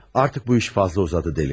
Artıq bu iş fazla uzadı, dəliqanım.